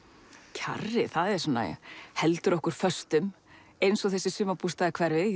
kjarrið svona heldur okkur föstum eins og þessi sumarbústaðahverfi